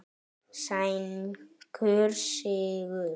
Sænskur sigur.